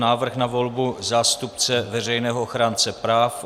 Návrh na volbu zástupce Veřejného ochránce práv